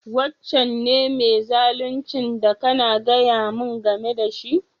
Wancan ne mai zaluncin da kana gaya mu game da shi?